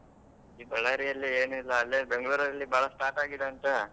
ಈ Ballari ಅಲ್ಲಿ ಏನು ಇಲ್ಲ ಅಲ್ಲೇ Bangalore ಅಲ್ಲಿ ಬಾಳ start ಆಗಿದೆ ಅಂತ?